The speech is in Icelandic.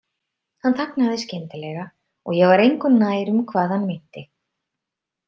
Hann þagnaði skyndilega og ég var engu nær um hvað hann meinti.